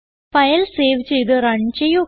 file save ചെയ്ത് run ചെയ്യുക